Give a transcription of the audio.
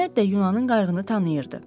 Məhəmməd də Yunanın qayığını tanıyırdı.